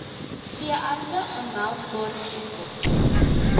veeartse aanmeldbare siektes